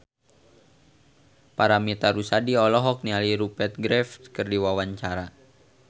Paramitha Rusady olohok ningali Rupert Graves keur diwawancara